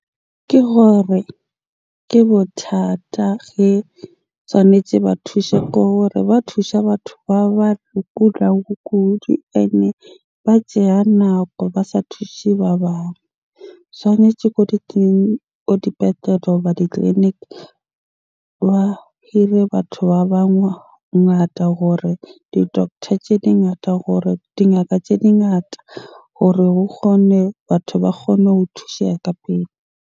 Ke hore ke bothata ge tshwanetse ba thushe ba thusha batho ba kula ho kudu. Ene ba tseya nako ba sa thushe ba bang. Tshwanetje ko di ko dipetlele goba ditleliniki ba hire batho ba bangata hore di-doctor tje di ngata hore dingaka tje di ngata hore ho kgone, batho ba kgone ho thusheha ka pele.